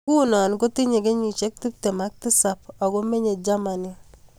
Nguno kotinyee kenyisiek tiptem ak tisap Ako menyee jamani